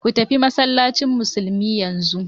Ku tafi masallacin musulmi yanzu!